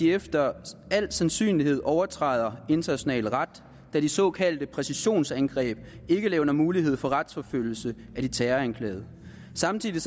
efter al sandsynlighed overtræder international ret da de såkaldte præcisionsangreb ikke levner mulighed for retsforfølgelse af de terroranklagede samtidig